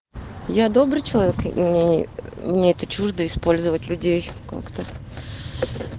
я добрый человек и мне мне это чуждо использовать людей как-то